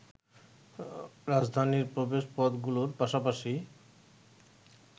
রাজধানীর প্রবেশপথগুলোর পাশাপাশি